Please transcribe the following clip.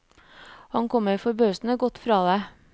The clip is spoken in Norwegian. Han kommer forbausende godt fra det.